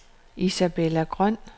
Isabella Grøn